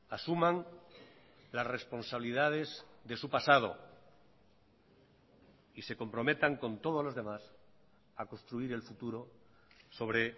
asuman las responsabilidades de su pasado y se comprometan con todos los demás a construir el futuro sobre